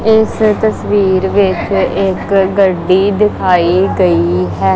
ਇਸ ਤਸਵੀਰ ਵਿੱਚ ਇੱਕ ਗੱਡੀ ਦਿਖਾਈ ਗਈ ਹੈ।